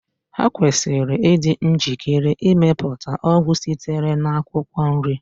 Ha kwesịrị ịdị njikere ịmepụta ọgwụ sitere na akwụkwọ nri